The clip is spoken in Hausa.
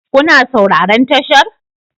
Kuna sauraron tashar?